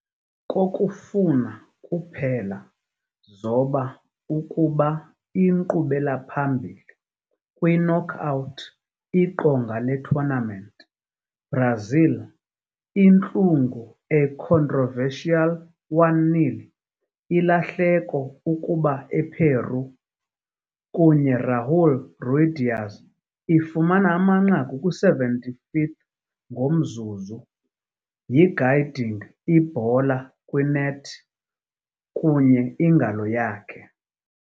Kokufuna kuphela zoba ukuba inkqubela-phambili kwi-knockout iqonga le-tournament, Brazil intlungu a controversial 1-0 ilahleko ukuba ePeru, kunye Raúl Ruidíaz ifumana amanqaku kwi-75th ngomzuzu yi-guiding ibhola kwi-net kunye ingalo yakhe.